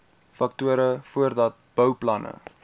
faktore voordat bouplanne